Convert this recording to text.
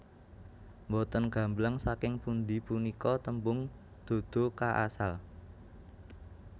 Mbotèn gamblang saking pundhi punika tèmbung dodo kaasal